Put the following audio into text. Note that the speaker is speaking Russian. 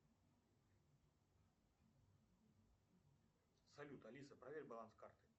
салют алиса проверь баланс карты